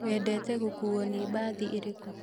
Wendete gũkuo na bathĩ irĩku